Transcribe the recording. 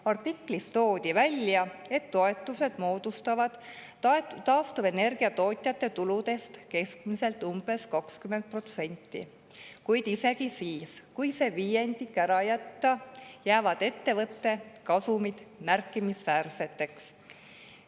Artiklis toodi välja, et toetused moodustavad taastuvenergia tootjate tuludest keskmiselt umbes 20%, kuid isegi siis, kui see viiendik ära jätta, jäävad ettevõtete kasumid märkimisväärseteks.